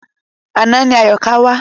Àná ni Àyọ̀ká wá.